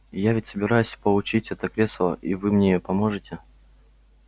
я ведь собираюсь получить это кресло и вы мне поможете